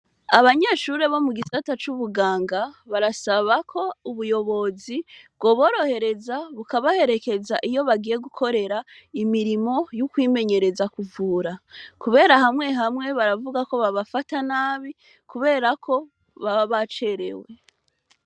Abanyeshure bo mu gisata c'ubuganga, barasaba ko ubuyobozi bwoborohereza, bukabaherekeza iyo bagiye gukorera imirimo yo kwimenyereza kuvura. Kubera hamwe hamwe baravuga ko babafata nabi, kubera ko baba bacerewe.